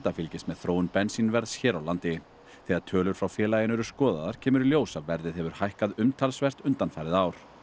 fylgist með þróun bensínverðs hér á landi þegar tölur frá félaginu eru skoðaðar kemur í ljós að verðið hefur hækkað umtalsvert undanfarið ár